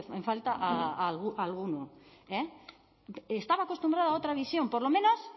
en falta a alguno eh estaba acostumbrada a otra visión por lo menos